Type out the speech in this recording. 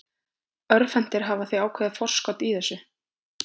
Örvhentir hafa því ákveðið forskot í þessu.